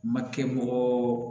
Makɛ bɔgɔ